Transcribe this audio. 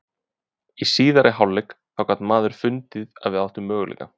Í síðari hálfleik þá gat maður fundið að við áttum möguleika.